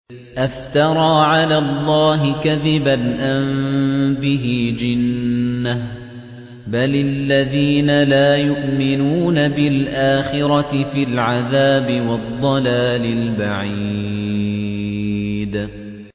أَفْتَرَىٰ عَلَى اللَّهِ كَذِبًا أَم بِهِ جِنَّةٌ ۗ بَلِ الَّذِينَ لَا يُؤْمِنُونَ بِالْآخِرَةِ فِي الْعَذَابِ وَالضَّلَالِ الْبَعِيدِ